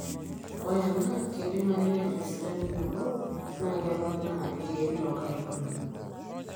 ore ena keidimayu neeta esidano nabo naa kepoonaa iirkeek loo nkaitubulu